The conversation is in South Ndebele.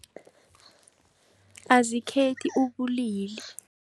Azikhethi ubulili.